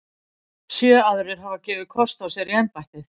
Sjö aðrir hafa gefið kost á sér í embættið.